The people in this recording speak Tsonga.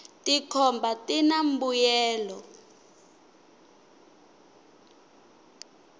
tikhomba tina mbuyelo